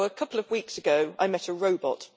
So a couple of weeks ago I met a robot.